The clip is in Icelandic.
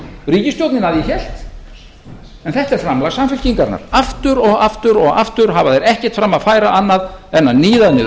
ríkisstjórnin að ég hélt en þetta er framlag samfylkingarinnar aftur og aftur og aftur hafa þeir ekkert fram að færa annað en að níða niður